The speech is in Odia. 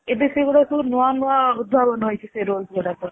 ଏବେ ସେ ଗୁଡାକ ସବୁ ନୂଆ ନୂଆ ଉଦ୍ଭାବନ ହେଇଚି ସେ rolls ଗୁଡାକ ରେ